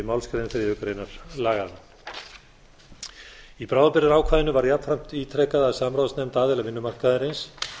málsgrein þriðju grein laganna í bráðabirgðaákvæðinu var jafnframt ítrekað að samráðsnefnd aðila vinnumarkaðarins